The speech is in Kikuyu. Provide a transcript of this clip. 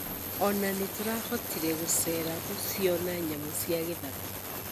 Ona nĩtũrahotire gũcera gũciona nyamũ cia gĩthaka.